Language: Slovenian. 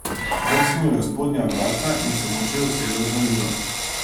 Brcnil je v spodnja vratca in se molče usedel za mizo.